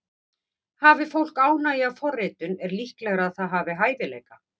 Hafi fólk ánægju af forritun er líklegra að það hafi hæfileika.